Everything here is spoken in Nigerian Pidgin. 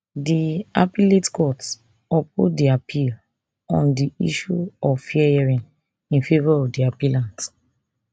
di appellate court uphold di appeal on di issue of fair hearing in favour of di appellant